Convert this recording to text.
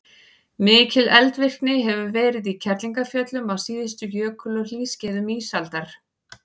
mikil eldvirkni hefur verið í kerlingarfjöllum á síðustu jökul og hlýskeiðum ísaldar